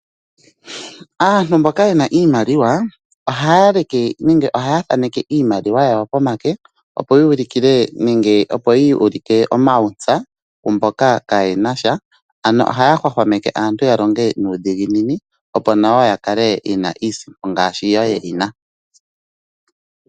Aantu mboka yena iimaliwa ohaya leke nenge ohaya thaaneke iimaliwa yawo pomake opo ya ulikile nenge opo ya ulike omauntsa kumboka kaye nasha. Ano ohaya hwahwameke aantu ya longe nuudhiginini opo nayo ya kale yena iisimpo, ngaashi yo ye yina.